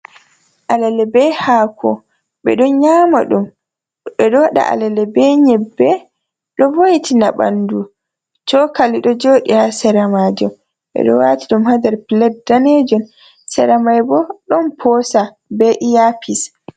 Alale be haako, ɓe ɗon nyaama ɗum, ɓe ɗo waɗa alale be nyebbe. Ɗo vo'itina ɓanndu cokali ɗo jooɗi haa sera maajum, ɓe ɗo waati ɗum haa nder puled daneejum sera may bo, ɗon poosa be iyapis.